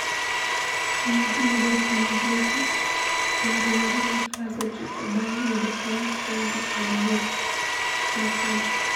Nyathi majachan giko to oriure gi klas ochiko bang` yudo kony kuom jo od bura makono